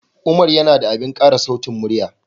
Umar yana da abin ƙara sautin murya